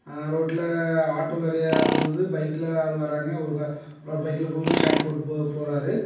ரோட்ல ஆட்டோ நிறைய போகுது பைக்ல ஆள் வராங்க பைக்ல ஷர்ட் போட்டு போறாரு.